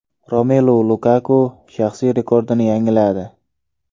Romelu Lukaku shaxsiy rekordini yangiladi.